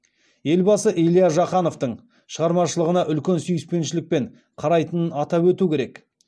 елбасы илья жақановтың шығармашылығына үлкен сүйіспеншілікпен қарайтынын атап өту керек